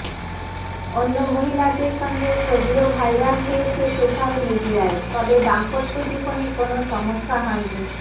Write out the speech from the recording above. অন্য মহিলাদের সঙ্গে ছবিও ভাইরাল হয়েছে সোশ্যাল মিডিয়ায় তবে দাম্পত্য জীবনে কোনও সমস্যা হয়নি